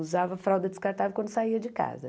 Usava fralda descartável quando saía de casa.